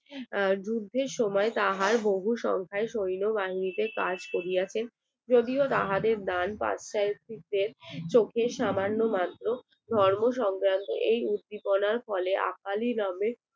যুদ্ধের সময় তাহার বহু সংখ্যায় সৈন্যবাহিনীতে কাজ করিয়াছে যদিও তাহাদের চোখের সামান্য ধর্ম সংক্রান্ত এই উদ্দীপনা ফলে